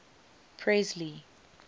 presley